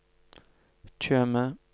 Tjøme